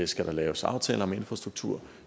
skal der laves aftaler om infrastruktur